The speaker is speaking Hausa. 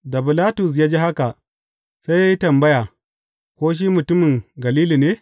Da Bilatus ya ji haka, sai ya yi tambaya, Ko shi mutumin Galili ne?